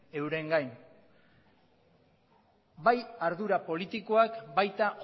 eurengan bai ardura politikoak baita